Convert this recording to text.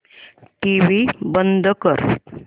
TV बंद कर